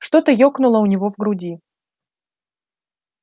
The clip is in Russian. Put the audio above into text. что-то ёкнуло у него в груди